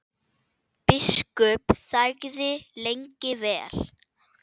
Biskup þagði lengi vel.